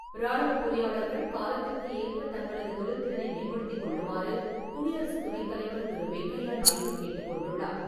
ராணுவப் பொறியாளர்கள் காலத்திற்கு ஏற்ப தங்களது தொழில் திறனை மேம்படுத்திக் கொள்ளுமாறு குடியரசுத் துணைத் தலைவர் திரு. வெங்கையா நாயுடு கேட்டுக்கொண்டுள்ளார்.